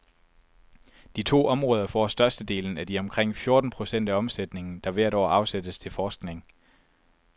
De to områder får størstedelen af de omkring fjorten procent af omsætningen, der hvert år afsættes til forskning.